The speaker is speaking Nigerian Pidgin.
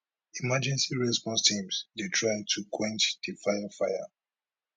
emergency response teams dey try to quench di fire fire